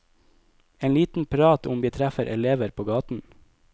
En liten prat om vi treffer elever på gaten.